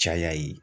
Caya ye